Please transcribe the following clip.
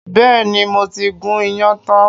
Bẹ́ẹ̀ni, mo ti gún iyán tán